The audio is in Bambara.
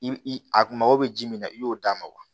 I a kun mago bɛ ji min na i y'o d'a ma wa